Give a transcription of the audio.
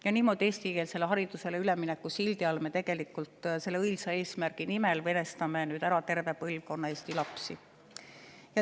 Ja niimoodi me tegelikult eestikeelsele haridusele ülemineku sildi all, selle õilsa eesmärgi nimel venestame ära terve põlvkonna eesti lapsi.